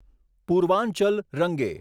Purvanchal રંગે